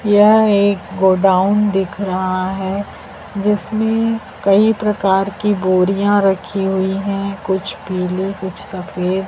यह एक गोडाउन दिख रहा है जिसमें कई प्रकार की बोरियां रखी हुई हैं कुछ पीले कुछ सफेद।